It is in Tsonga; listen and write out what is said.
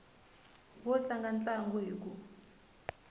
wo tlanga ntlangu hi ku